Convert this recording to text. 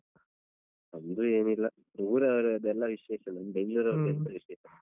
ನಮ್ದು ಏನಿಲ್ಲ. ಊರವರದ್ದೆಲ್ಲ ವಿಶೇಷ ನಮ್ ಎಂತ ವಿಶೇಷ.